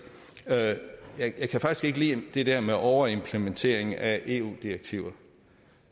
jeg kan faktisk ikke lide det der med overimplementering af eu direktiver